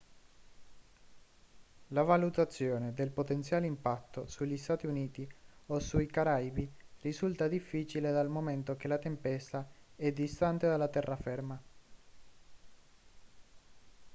la valutazione del potenziale impatto sugli stati uniti o sui caraibi risulta difficile dal momento che la tempesta è distante dalla terraferma